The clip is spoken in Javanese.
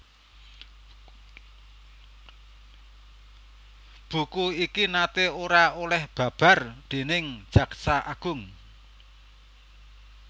Buku iki naté ora oleh babar déning Jaksa Agung